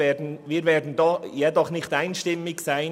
Wir werden uns jedoch nicht einstimmig verhalten;